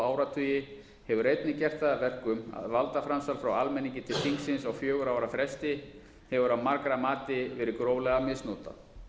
áratugi hefur einnig gert það að verkum að valdaframsal frá almenningi til þingsins á fjögurra ára fresti hefur að margra mati verið gróflega misnotað